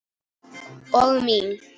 Og mín.